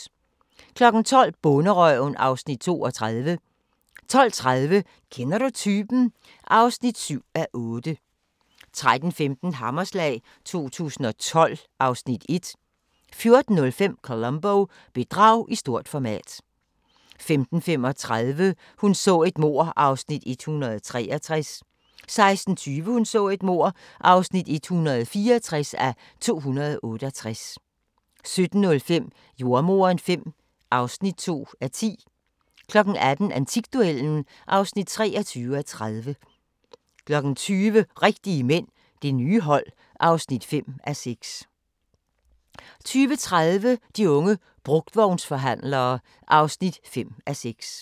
12:00: Bonderøven (Afs. 32) 12:30: Kender du typen? (7:8) 13:15: Hammerslag 2012 (Afs. 1) 14:05: Columbo: Bedrag i stort format 15:35: Hun så et mord (163:268) 16:20: Hun så et mord (164:268) 17:05: Jordemoderen V (2:10) 18:00: Antikduellen (23:30) 20:00: Rigtige mænd – det nye hold (5:6) 20:30: De unge brugtvognsforhandlere (5:6)